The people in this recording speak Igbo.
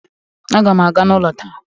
Aga m aga n'ụlọ taa